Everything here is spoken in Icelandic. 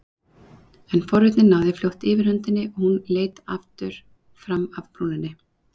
En forvitnin náði fljótt yfirhöndinni og hún leit aftur fram af brúninni.